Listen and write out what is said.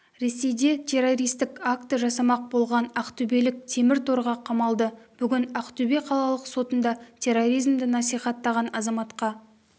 ресейде террористік акті жасамақ болған ақтөбелік темір торға қамалды бүгін ақтөбе қалалық сотында терроризмді насихаттаған азаматқа